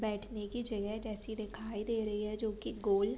बैठने की जगह जैसी दिखाई दे रही है जोकि गोल --